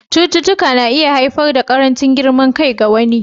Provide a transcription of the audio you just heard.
Cututtuka na iya haifar da ƙarancin girman kai ga wani.